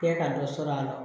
Kɛ ka dɔ sɔrɔ a la